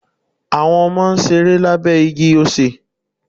Àwọn Ọmọ n ṣeré lábé igi osè